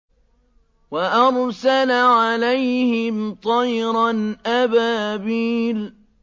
وَأَرْسَلَ عَلَيْهِمْ طَيْرًا أَبَابِيلَ